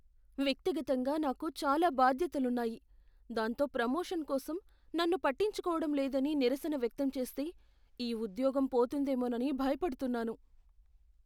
వ్యక్తిగతంగా నాకు చాలా బాధ్యతలున్నాయి, దాంతో ప్రమోషన్ కోసం నన్ను పట్టించుకోవడం లేదని నిరసన వ్యక్తం చేస్తే ఈ ఉద్యోగం పోతుందేమోనని భయపడుతున్నాను.